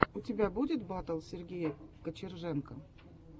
у тебя будет батл сергея кочерженко